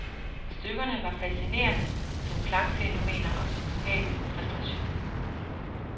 Stykkerne var fascinerende som klangfænomener og vokale præstationer.